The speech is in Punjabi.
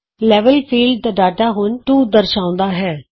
ਲੈਵਲ ਫੀਲ੍ਡ ਦਾ ਡਾਟਾ ਹੁਣ 2 ਦਰਸ਼ਾਉਂਦਾ ਹੈ